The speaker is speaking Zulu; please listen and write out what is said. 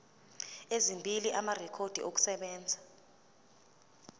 ezimbili amarekhodi okusebenza